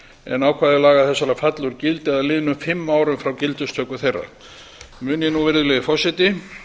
en ákvæði laga þessara falla úr gildi að liðnum fimm árum frá gildistöku þeirra mun ég nú virðulegi forseti